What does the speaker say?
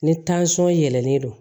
Ni yɛlɛnen don